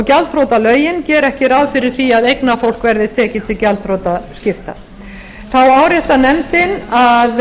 gjaldþrotalögin gera ekki ráð fyrir því að eignafólk verði tekið til gjaldþrotaskipta þá áréttar nefndin að